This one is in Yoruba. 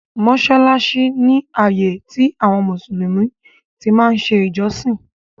Mọsálásí ni ààyè tí àwọn Mùsùlùmí tí máa ń ṣe ìjọsìn